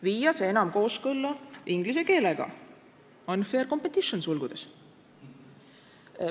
viia see enam kooskõlla inglise keelega "?